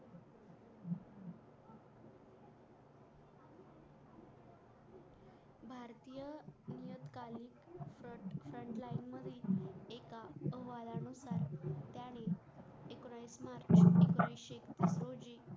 एकोणीशे दो होते